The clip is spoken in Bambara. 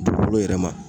Dugukolo yɛrɛ ma